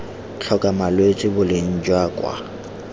tlhoka malwetse boleng jwa kwa